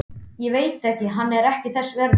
Ég veit hann er ekki þess verður.